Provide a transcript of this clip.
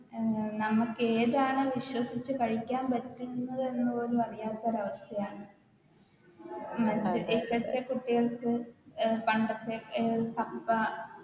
A നമുക്കേതാണ് വിശ്വസിച്ച് കഴിക്കാൻ പറ്റുന്നത് എന്ന് പോലും അറിയാത്തൊരു അവസ്ഥയാണ് അത് ഇപ്പത്തെ കുട്ടികൾക്ക് പണ്ടത്തെ അഹ് കപ്പ